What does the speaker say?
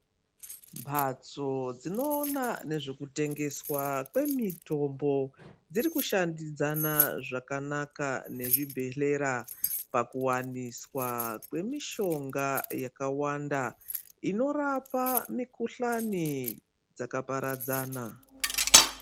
Mhatso dzinoona ngezvekutengeswa kwemitombo dziri kushandidzana zvakanaka nezvibhedhlera pakuwaniswa kwemishonga yakawanda inorapa mikhuhlani dzakaparadzana.